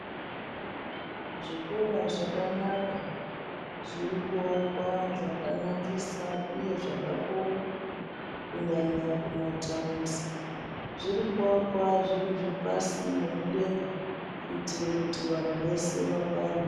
Zvikora zvakanaka, zviri kuakwa zvakanakisa uye zvakakura, kunyanya kumathaundi. Zviri kuakwa zviri zvepasi nemudenga, kuitire kuti vanhu vese vakwane.